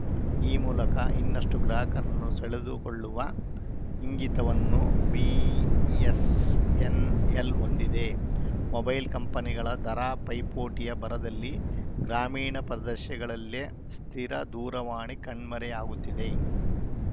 ಈ ಮೂಲಕ ಇನ್ನಷ್ಟುಗ್ರಾಹಕರನ್ನು ಸೆಳೆದುಕೊಳ್ಳುವ ಇಂಗಿತವನ್ನು ಬಿಇಎಸ್‌ಎನ್‌ಎಲ್‌ ಹೊಂದಿದೆ ಮೊಬೈಲ್‌ ಕಂಪನಿಗಳ ದರ ಪೈಪೋಟಿಯ ಭರದಲ್ಲಿ ಗ್ರಾಮೀಣ ಪ್ರದೇಶಗಳಲ್ಲೇ ಸ್ಥಿರ ದೂರವಾಣಿ ಕಣ್ಮರೆಯಾಗುತ್ತಿದೆ